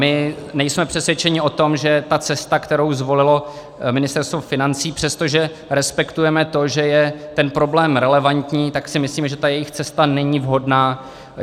My nejsme přesvědčeni o tom, že ta cesta, kterou zvolilo Ministerstvo financí, přestože respektujeme to, že je ten problém relevantní, tak si myslíme, že ta jejich cesta není vhodná.